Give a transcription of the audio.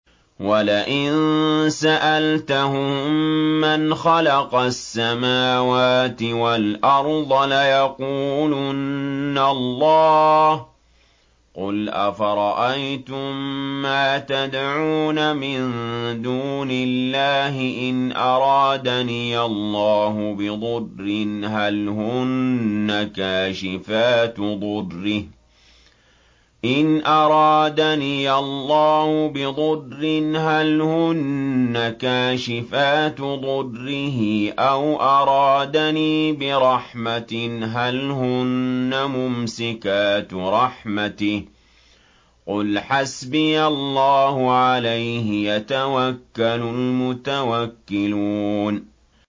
وَلَئِن سَأَلْتَهُم مَّنْ خَلَقَ السَّمَاوَاتِ وَالْأَرْضَ لَيَقُولُنَّ اللَّهُ ۚ قُلْ أَفَرَأَيْتُم مَّا تَدْعُونَ مِن دُونِ اللَّهِ إِنْ أَرَادَنِيَ اللَّهُ بِضُرٍّ هَلْ هُنَّ كَاشِفَاتُ ضُرِّهِ أَوْ أَرَادَنِي بِرَحْمَةٍ هَلْ هُنَّ مُمْسِكَاتُ رَحْمَتِهِ ۚ قُلْ حَسْبِيَ اللَّهُ ۖ عَلَيْهِ يَتَوَكَّلُ الْمُتَوَكِّلُونَ